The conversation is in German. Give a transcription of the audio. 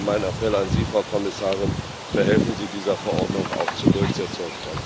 Und mein Appell an Sie, Frau Kommissarin Verhelfen Sie dieser Verordnung auch zur Durchsetzung!